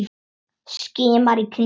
Skimar í kringum sig.